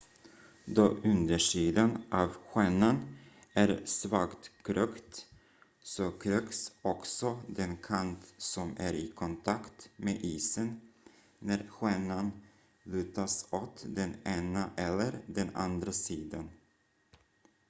då undersidan av skenan är svagt krökt så kröks också den kant som är i kontakt med isen när skenan lutas åt den ena eller den andra sidan